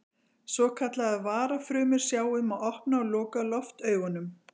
Svokallaðar varafrumur sjá um að opna og loka loftaugunum.